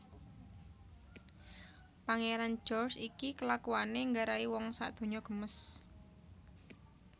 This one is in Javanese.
Pangeran George iki kelakuane nggarai wong sak donya gemes